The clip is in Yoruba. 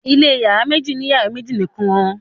ilé iyàrá méjì ni iyàrá méjì nìkàn